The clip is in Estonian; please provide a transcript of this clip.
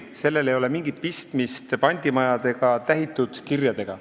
Sellel ei ole mingit pistmist pandimajadega ega tähitud kirjadega.